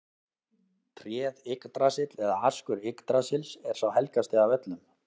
Tréð Yggdrasill eða askur Yggdrasils er sá helgasti af öllum.